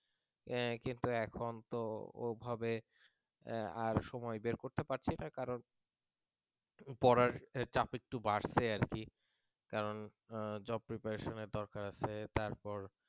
কিন্তু এখন তো ওভাবে আর সময় বের করতে পারছি না করান পড়ার চাপ একটু বাড়ছে আর কি কার job preparation এর দরকার আছে তারপর,